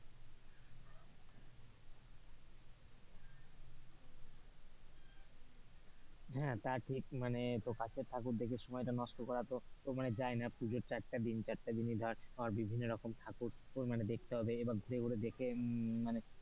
হ্যাঁ তা ঠিক তা মানে তো কাছের ঠাকুর দেখে সময়টা নষ্ট করার তো ও তো যাই না পুজোর চারটা দিন, ছাড়তে দিনই ধর বিভিন্ন রকম ঠাকুর উম দেখতে হবে এবার ঘুরে ঘুরে দেখে উম মানে,